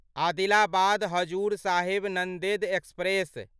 Adilabad Hazur Sahib Nanded express